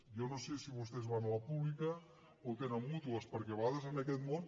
jo no sé si vostès van a la pública o tenen mútues perquè a vegades en aquest món